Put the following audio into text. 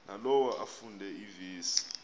nalowo afunde iivesi